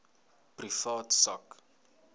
privaat sak